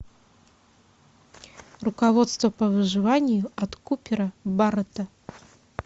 руководство по выживанию от купера баррэта